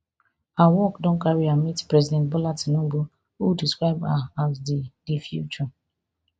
her work don carry her meet president bola tinubu who describe her as di di future